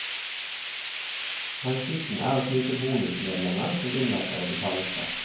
Hensikten er å knipe bonusmedlemmer som unnlater å betale skatt.